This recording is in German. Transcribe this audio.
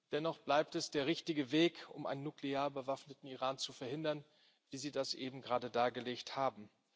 Dennoch bleibt es der richtige Weg, um einen nuklear bewaffneten Iran zu verhindern, wie Sie das eben gerade dargelegt haben.